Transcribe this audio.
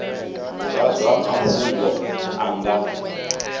wa zwa mafhungo a nga